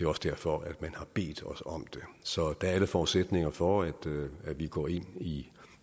også derfor at man har bedt os om det så der er alle forudsætninger for at vi går ind i